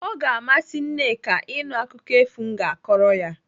O ga-amasị Nneka ịnụ akụkọ efu m ga-akọrọ ya.